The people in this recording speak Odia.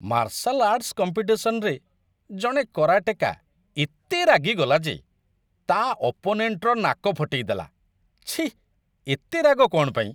ମାର୍ଶାଲ ଆର୍ଟସ୍ କମ୍ପିଟିସନ୍‌ରେ ଜଣେ କରାଟେକା ଏତେ ରାଗିଗଲା ଯେ ତା' ଅପୋନେଣ୍ଟର ନାକ ଫଟେଇଦେଲା, ଛିଃ, ଏତେ ରାଗ କ'ଣ ପାଇଁ!